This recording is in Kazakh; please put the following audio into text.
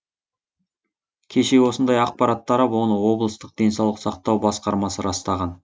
кеше осындай ақпарат тарап оны облыстық денсаулық сақтау басқармасы растаған